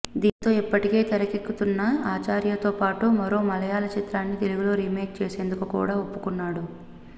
దీంతో ఇప్పటికే తెరకెక్కుతున్న ఆచార్యతో పాటు మరో మలయాళ చిత్రాన్ని తెలుగులో రీమేక్ చేసేందుకు కూడా ఒప్పుకున్నాడు